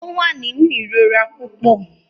Ó wà nínú ìrora púpọ.